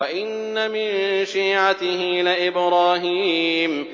۞ وَإِنَّ مِن شِيعَتِهِ لَإِبْرَاهِيمَ